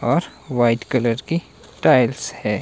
और white colour की tiles है।